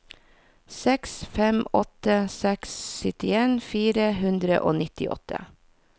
seks fem åtte seks syttien fire hundre og nittiåtte